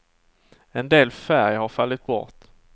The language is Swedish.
En del färg har fallit bort.